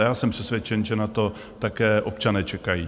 A já jsem přesvědčen, že na to také občané čekají.